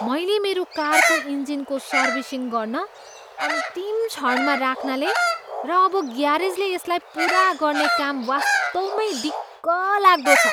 मैले मेरो कारको इन्जिनको सर्भिसिङ गर्न अन्तिम क्षणमा राख्नाले र अब ग्यारेजले यसलाई पुरा गर्ने काम वास्तवमै दिक्क लाग्दो छ।